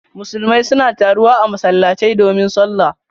Musulmai suna taruwa a masallatai domin sallah.